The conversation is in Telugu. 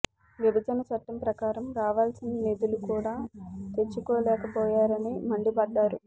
విభజన చట్టం ప్రకారం రావాల్సిన నిధులు కూడా తెచ్చుకోలేక పోయారని మండిపడ్డారు